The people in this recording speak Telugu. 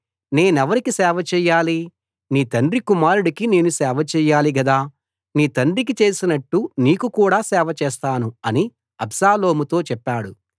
నేనెవరికి సేవ చేయాలి నీ తండ్రి కుమారుడికి నేను సేవ చేయాలి గదా నీ తండ్రికి చేసినట్టు నీకు కూడా సేవ చేస్తాను అని అబ్షాలోముతో చెప్పాడు